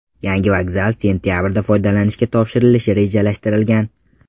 Yangi vokzal sentabrda foydalanishga topshirilishi rejalashtirilgan.